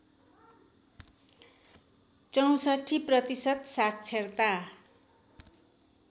६४ प्रतिशत साक्षरता